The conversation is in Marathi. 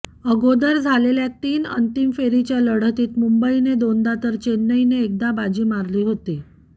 अगोदर झालेल्या तीन अंतिम फेरीच्या लढतीत मुंबईने दोनदा तर चेन्नईने एकदा बाजी मारली होती